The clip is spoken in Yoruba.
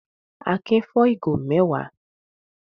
Akin fọ́ ìgò mẹ́wàá.